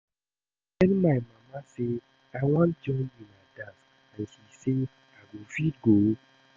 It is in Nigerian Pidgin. I tell my mama say I wan join una dance and she say I go fit go